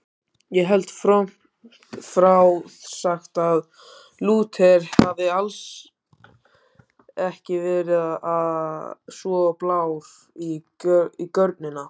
Ég held frómt frá sagt að Lúther hafi alls ekki verið svo blár á görnina.